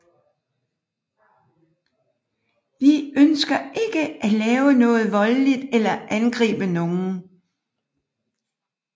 Vi ønsker ikke at lave noget voldeligt eller angribe nogen